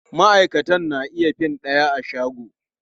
Maʼaikatan na iya fin ɗaya a shago.